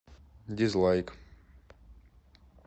дизлайк